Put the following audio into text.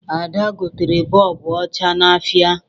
Ada gotere bọọbụ ọcha n'ahịa